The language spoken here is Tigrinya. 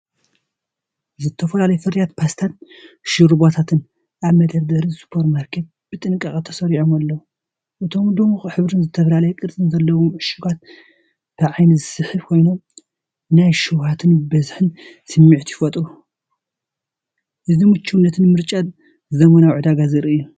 ዝተፈላለዩ ፍርያት ፓስታን ሾርባታትን ኣብ መደርደሪ ሱፐርማርኬት ብጥንቃቐ ተሰሪዖም ኣለዉ። እቶም ድሙቕ ሕብርን ዝተፈላለየ ቅርጽን ዘለዎም ዕሹጋት ብዓይኒ ዝስሕቡ ኮይኖም፡ ናይ ሸውሃትን ብዝሕን ስምዒት ይፈጥሩ። እዚ ምቹእነትን ምርጫታትን ዘመናዊ ዕዳጋ ዘርኢ እዩ።